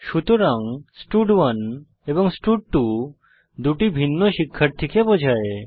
সুতরাং স্টাড1 এবং স্টাড2 দুটি ভিন্ন শিক্ষার্থীকে বোঝায়